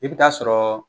I bɛ taa sɔrɔ